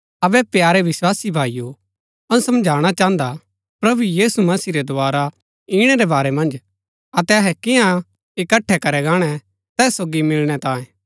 अबै प्यारे विस्वासी भाईओ अऊँ समझाणा चाहन्दा प्रभु यीशु मसीह रै दोवारा ईणै रै बारै मन्ज अतै अहै कियां इकट्ठै करै गाणै तैस सोगी मिलणै तांये